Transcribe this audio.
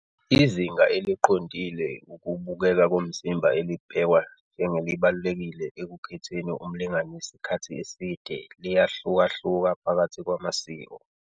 Izinga eliqondile ukubukeka komzimba elibhekwa njengelibalulekile ekukhetheni umlingani wesikhathi eside liyahlukahluka phakathi kwamasiko.